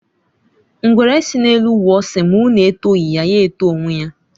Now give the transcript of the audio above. Ngwere sị n'elu wụọ sị ma unu etọghi ya, ya eto onwe ya.